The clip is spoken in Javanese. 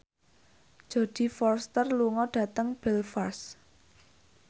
Jodie Foster lunga dhateng Belfast